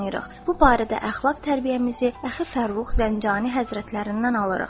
Bu barədə əxlaq tərbiyəmizi Əxi Fərrux Zəncani Həzrətlərindən alırıq.